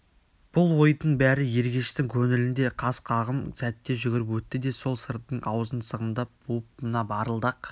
бұл ойдың бәрі ергештің көңілінде қас қағым сәтте жүгіріп өтті де сол сырдың аузын сығымдап буып мына барылдақ